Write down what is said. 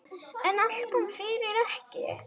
En allt kom fyrir ekki!